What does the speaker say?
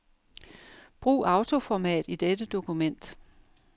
Brug autoformat i dette dokument.